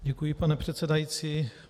Děkuji, pane předsedající.